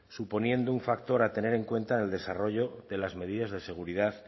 suponiendo un factor a tener en cuenta en el desarrollo de las medidas de seguridad